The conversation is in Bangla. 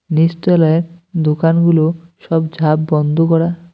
নীচতলায় দোকানগুলো সব ঝাপ বন্ধ করা।